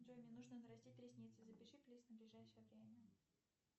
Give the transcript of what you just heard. джой мне нужно нарастить ресницы запиши плиз на ближайшее время